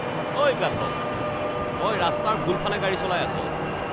ঐ, গাধ। তই ৰাস্তাৰ ভুল ফালে গাড়ী চলাই আছ।